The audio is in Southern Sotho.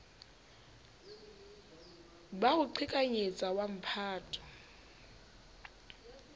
ba ho qhekanyetsa wa mphato